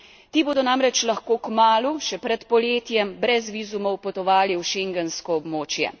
Ti bodo namreč lahko kmalu, še pred poletjem, brez vizumov potovali v schengensko območje.